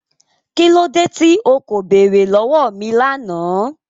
Kí lódé tí o kò bẹ̀ẹ̀rẹ̀ lọ̀wọ̀ mi lánà?